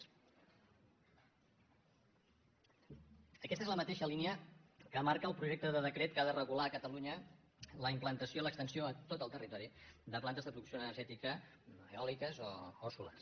aquesta és la mateixa línia que marca el projecte de decret que ha de regular a catalunya la implantació l’extensió a tot el territori de plantes de producció energètica eòliques o solars